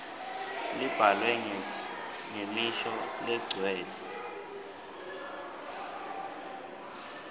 labhalwe ngemisho legcwele